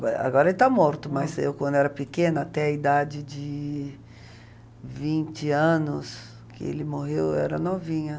agora ele está morto, mas eu quando era pequena, até a idade de vinte anos, que ele morreu, eu era novinha.